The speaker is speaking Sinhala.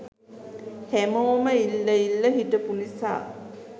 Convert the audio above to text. හැමෝම ඉල්ල ඉල්ල හිටපු නිසා